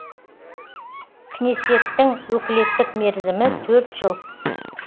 кнесеттің өкілеттік мерзімі төрт жыл